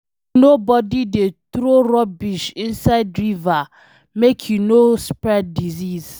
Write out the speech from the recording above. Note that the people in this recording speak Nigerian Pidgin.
Make nobody dey throw rubbish inside river, make e no spread disease